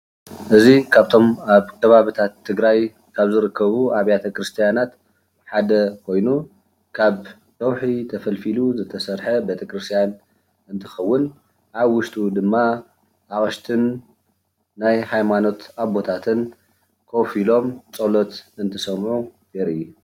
እዚ ካብቶም ኣብ ከባቢታት ትግራይ ካብ ዝርከቡ ኣብያተ ቤተክርስትያናት ሓደ ኮይኑ ካብ ከውሒ ተፈልፊሉ ዝተሰርሐ ቤተክርስትያን እንትከውን ኣብ ውሽጡ ድማ አቅሽትን ናይ ሃይማኖትን ኣቦታትን ኮፍ ኢሎም ፀሎት እንትሰምዑ የርኢ፡፡